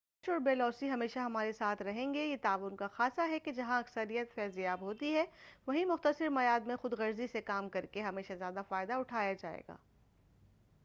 لالچ اور بے لوثی ہمیشہ ہمارے ساتھ رہیں گے اور یہ تعاون کا خاصہ ہے کہ جہاں اکثریت فیض یاب ہوتی ہے وہیں مختصر میعاد میں خود غرضی سے کام کرکے ہمیشہ زیادہ فائدہ اٹھایا جائے گا